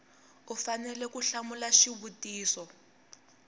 u fanele ku hlamula xivutiso